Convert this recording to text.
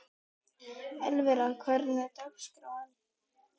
Elvira, hvernig er dagskráin?